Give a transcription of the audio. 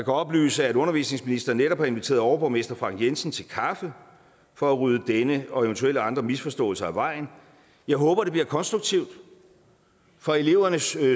oplyse at undervisningsministeren netop har inviteret overborgmester frank jensen til kaffe for at rydde denne og eventuelle andre misforståelser af vejen jeg håber det bliver konstruktivt for elevernes